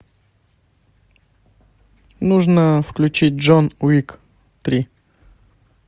нужно включить джон уик три